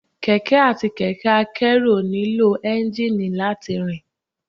Kẹ̀kẹ́ àti kẹ̀kẹ́ a kẹ́rù ò nílò Ẹ́ńjíìnì láti rìn